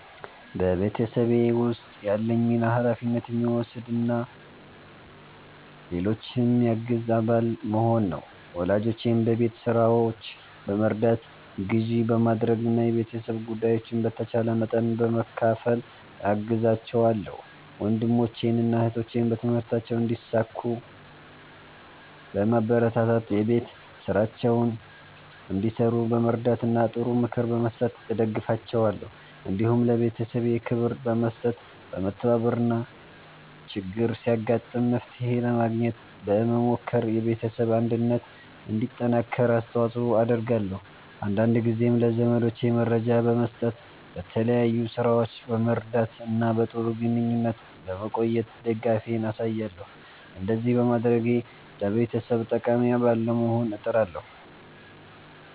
በቤተሰቤ ውስጥ ያለኝ ሚና ኃላፊነት የሚወስድ እና ሌሎችን የሚያግዝ አባል መሆን ነው። ወላጆቼን በቤት ሥራዎች በመርዳት፣ ግዢ በማድረግ እና የቤተሰብ ጉዳዮችን በተቻለ መጠን በመካፈል እገዛቸዋለሁ። ወንድሞቼንና እህቶቼን በትምህርታቸው እንዲሳኩ በማበረታታት፣ የቤት ሥራቸውን እንዲሠሩ በመርዳት እና ጥሩ ምክር በመስጠት እደግፋቸዋለሁ። እንዲሁም ለቤተሰቤ ክብር በመስጠት፣ በመተባበር እና ችግር ሲያጋጥም መፍትሄ ለማግኘት በመሞከር የቤተሰብ አንድነት እንዲጠናከር አስተዋጽኦ አደርጋለሁ። አንዳንድ ጊዜም ለዘመዶቼ መረጃ በመስጠት፣ በተለያዩ ሥራዎች በመርዳት እና በጥሩ ግንኙነት በመቆየት ድጋፌን አሳያለሁ። እንደዚህ በማድረግ ለቤተሰቤ ጠቃሚ አባል ለመሆን እጥራለሁ።"